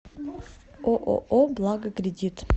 ооо благо кредит